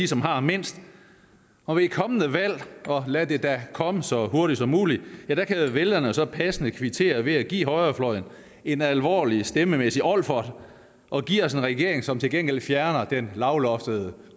som har mindst og ved et kommende valg og lad det da komme så hurtigt som muligt kan vælgerne så passende kvittere ved at give højrefløjen en alvorlig stemmemæssig olfert og give os en regering som til gengæld fjerner den lavloftede